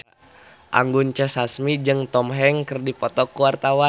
Anggun C. Sasmi jeung Tom Hanks keur dipoto ku wartawan